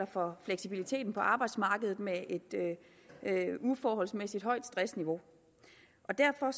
for fleksibiliteten på arbejdsmarkedet med et uforholdsmæssigt højt stressniveau og derfor